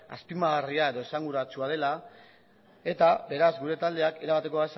azpimarragarria edo esanguratsua dela eta beraz gure taldeak erabateko